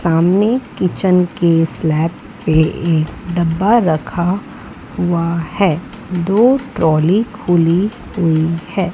सामने किचन के स्लैब पे एक डब्बा रखा हुआ है दो ट्रॉली खुली हुई है।